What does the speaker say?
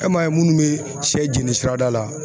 E m'a ye minnu bɛ sɛ jɛni sirada la